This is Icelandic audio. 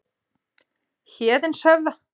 Héðinshöfða